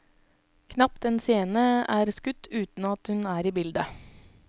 Knapt en scene er skutt uten at hun er i bildet.